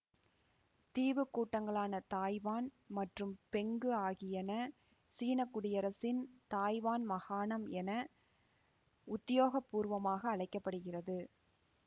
தீவு கூட்டங்களான தாய்வான் மற்றும் பெங்கு ஆகியன சீன குடியரசின் தாய்வான் மகாணம் என உத்தியோகபூர்வமாக அழைக்க படுகிறது